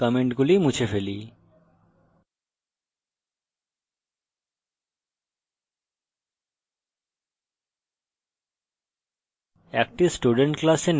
এখন কমেন্টগুলি মুছে ফেলি